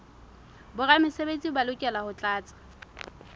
boramesebetsi ba lokela ho tlatsa